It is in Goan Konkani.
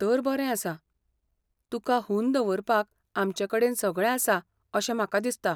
तर बरें आसा. तुका हून दवरपाक आमचेकडेन सगळें आसा अशें म्हाका दिसता.